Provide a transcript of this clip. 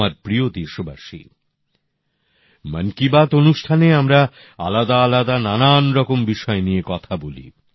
আমার প্রিয় দেশবাসী মন কি বাত অনুষ্ঠানে আমরা আলাদা আলাদা নানান রকম বিষয় নিয়ে কথা বলি